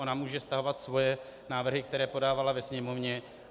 Ona může stahovat svoje návrhy, které podávala ve Sněmovně.